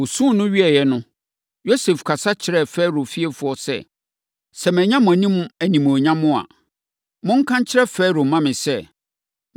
Wɔsuu no wieeɛ no, Yosef kasa kyerɛɛ Farao fiefoɔ sɛ, “Sɛ manya mo anim animuonyam a, monka nkyerɛ Farao mma me sɛ,